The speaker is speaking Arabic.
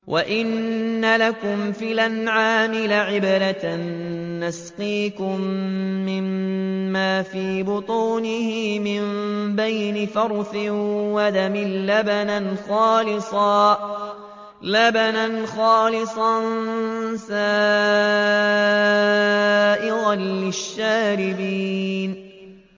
وَإِنَّ لَكُمْ فِي الْأَنْعَامِ لَعِبْرَةً ۖ نُّسْقِيكُم مِّمَّا فِي بُطُونِهِ مِن بَيْنِ فَرْثٍ وَدَمٍ لَّبَنًا خَالِصًا سَائِغًا لِّلشَّارِبِينَ